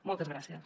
moltes gràcies